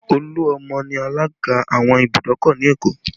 Oluomo ni alaga àwọn ìbùdókọ̀ ni Èkó